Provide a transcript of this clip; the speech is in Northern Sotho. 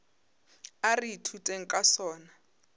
a re ithuteng ka sona